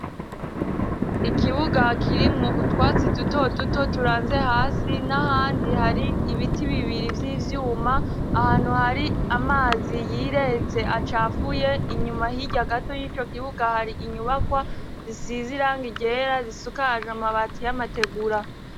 Ikibuga kirimwo utwatsi duto duto turanze hasi, n'ahandi hari ibiti bibiri vy'ivyuma, ahantu hari amazi yiretse acafuye. Inyuma hirya gato y'ico kibuga hari inyubakwa zisize iranga ryera, zisukajwe amabati y'amategura.